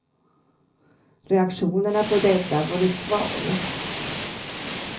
Reaktionerna på detta har varit svala.